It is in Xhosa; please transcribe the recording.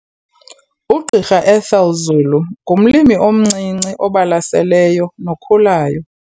UGqr Ethel Zulu ngumlimi omncinci obalaseleyo nokhulayo.